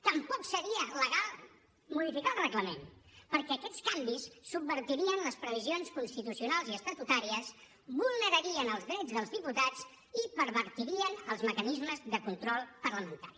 tampoc seria legal modificar el reglament perquè aquests canvis subvertirien les previsions constitucionals i estatutàries vulnerarien els drets dels diputats i pervertirien els mecanismes de control parlamentari